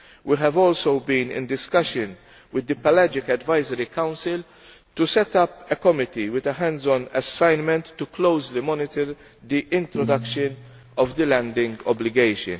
We have also been in discussion with the Pelagic Advisory Council to set up a Committee with a hands on assignment to closely monitor the introduction of the landing obligation.